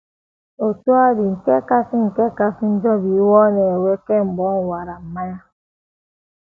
Otú ọ dị, nke kasị nke kasị njọ bụ iwe ọ na - ewe kemgbe ọ ṅụwara mmanya.